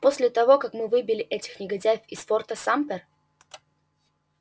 после того как мы выбили этих негодяев из форта сампер